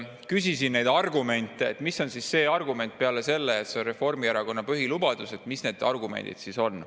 … küsisin argumentide kohta, mis need argumendid siis on, peale selle, et see on Reformierakonna põhilubadus.